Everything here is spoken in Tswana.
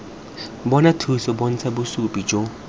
bona thuso bontsha bosupi jo